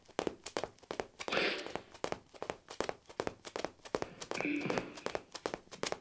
Þekkir einhver þessi mál?